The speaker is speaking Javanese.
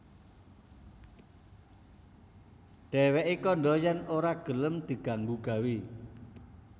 Dhèwèké kandha yèn ora gelem diganggu gawé